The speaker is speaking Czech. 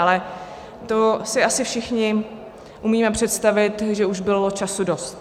Ale to si asi všichni umíme představit, že už bylo času dost.